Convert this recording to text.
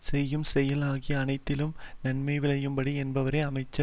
செய்யும் செயல் ஆகிய அனைத்திலும் நன்மை விளையும்படி எண்ணுபவரே அமைச்சர்